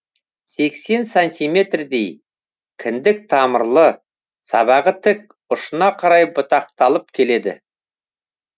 сексен сантиметрдей кіндік тамырлы сабағы тік ұшына қарай бұтақталып келеді